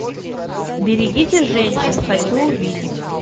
берегите женщин хочу увидеть